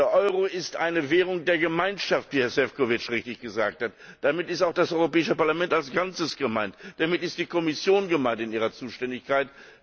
Der Euro ist eine Währung der Gemeinschaft, wie Herr Šefčovič richtig gesagt hat. Damit ist auch das Europäische Parlament als Ganzes gemeint, damit ist die Kommission gemeint in ihrer Zuständigkeit.